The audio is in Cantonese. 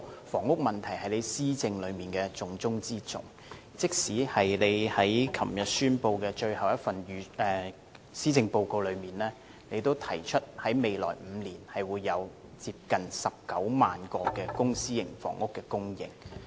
房屋問題是特首施政的重中之中，他昨天發表的最後一份施政報告，也提出在未來5年會有接近19萬個公私營房屋供應。